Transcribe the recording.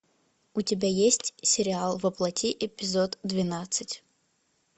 у тебя есть сериал во плоти эпизод двенадцать